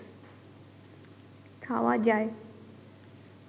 খাওয়া যায়